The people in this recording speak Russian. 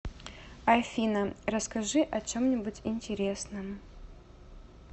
афина расскажи о чем нибудь интересном